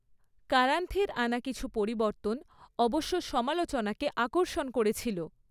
কারান্থের আনা কিছু পরিবর্তন অবশ্য সমালোচনাকে আকর্ষণ করেছিল।